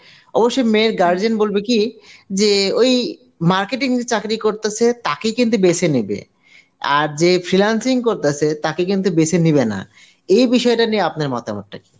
অবশ্যই মেয়ের guardian বলবে কি যে ওই marketing যে চাকরি করতেসে তাকে কিন্তু বেছে নেবে আর যে freelancing করতাসে তাকে কিন্তু বেছে নিবে না. এই বিষয়টা নিয়ে আপনার মতামত টা কি?